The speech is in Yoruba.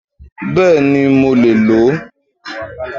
Bẹ́ẹ̀ni, mo lè ló